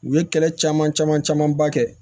U ye kɛlɛ caman caman camanba kɛ